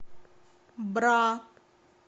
бра